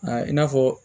Aa i n'a fɔ